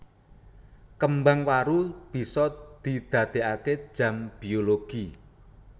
Kembang waru bisa didadeake jam biologi